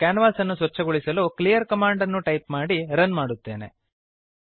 ಮತ್ತು ಕ್ಯಾನ್ವಾಸನ್ನು ಸ್ವಚ್ಛಗೊಳಿಸಲು ಕ್ಲೀಯರ್ ಕಮಾಂಡ್ ಅನ್ನು ಟೈಪ್ ಮಾಡಿ ರನ್ ಮಾಡುತ್ತೇನೆ